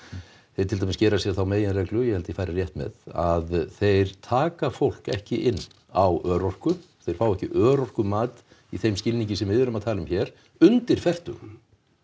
þeir til dæmis gera sér þá meginreglu ég held að ég fari rétt með að þeir taka fólk ekki inn á örorku þeir fá ekki örorkumat í þeim skilningi sem við erum að tala um hér undir fertugu